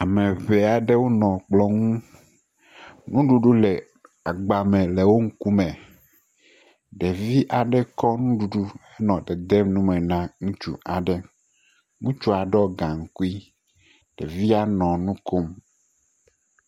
Ame ŋee aɖewo nɔ kplɔ ŋu, nuɖuɖu nɔ agba me le wo ŋkume, ɖevi aɖe kɔ nuɖuɖu nɔ dedem numen a ŋutsu aɖe. Ŋutsua ɖɔ gaŋkui, ɖevia nɔ nu kom.